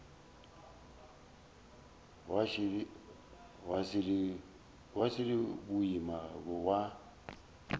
wa š le boima wa